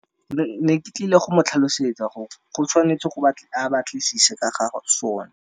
Ne ke tlile go mo tlhalosetsa gore go tshwanetse go batla a batlisise ka gagwe sona.